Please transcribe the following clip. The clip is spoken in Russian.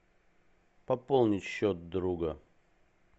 пополнить счет друга